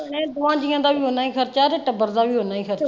ਨਹੀਂ ਦੋਨਾਂ ਜੀਆਂ ਦਾ ਵੀ ਓਂ ਹੀ ਖਰਚਾ ਤੇ ਟੱਬਰ ਦਾ ਵੀ ਓਨਾ ਹੀ ਖਰਚਾ।